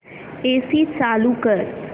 AC चालू कर